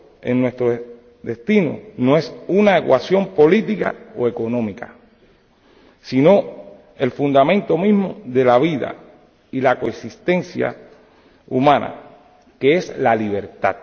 en nuestro destino no es una ecuación política o económica, sino el fundamento mismo de la vida y la coexistencia humana, que es la libertad.